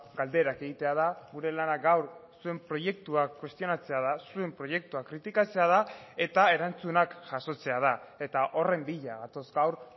galderak egitea da gure lana gaur zuen proiektuak kuestionatzea da zuen proiektuak kritikatzea da eta erantzunak jasotzea da eta horren bila gatoz gaur